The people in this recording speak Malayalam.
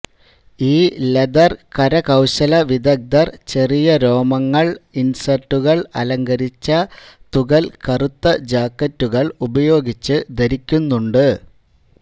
ഈ ലെതർ കരകൌശല വിദഗ്ദ്ധർ ചെറിയ രോമങ്ങൾ ഇൻസെർട്ടുകൾ അലങ്കരിച്ച തുകൽ കറുത്ത ജാക്കറ്റുകൾ ഉപയോഗിച്ച് ധരിക്കുന്നുണ്ട്